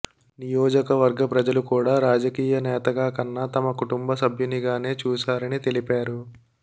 నియోజకవర్గ ప్రజలు కూడా రాజకీయ నేతగా కన్నా తమ కుటుంబ సభ్యునిగానే చూశారని తెలిపారు